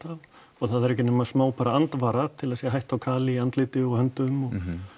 það þarf ekki nema smá bara andvara til að sé hætta á kali í andliti og höndum og